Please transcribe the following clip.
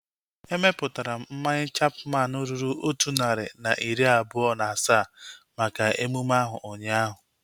Emeputara m mmanya Chapman ruru otu narị na iri abụọ na asaa maka emume ahu ụnyaahụ